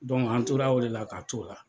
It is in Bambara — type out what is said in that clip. an tora o de la k'a t'o la.